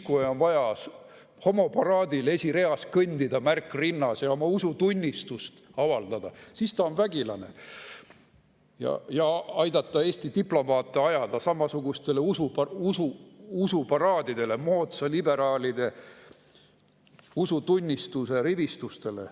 Kui on vaja homoparaadil esireas kõndida, märk rinnas, ja oma usutunnistust avaldada, siis ta on vägilane, ja aidata Eesti diplomaate ajada samasugustele usuparaadidele, moodsate liberaalide usutunnistuse rivistustele.